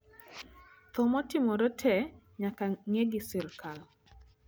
tho motimore te nyaka nge gi serikal